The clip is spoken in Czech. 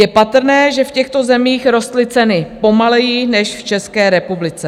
Je patrné, že v těchto zemích rostly ceny pomaleji než v České republice.